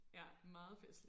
Ja meget festligt